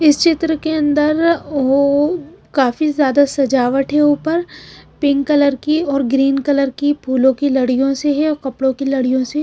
इस चित्र के अंदर वो काफी ज्यादा सजावट है ऊपर पिंक कलर कीऔर ग्रीन कलर की फूलों की लड़ियों से है और कपड़ों की लड़ियों से है।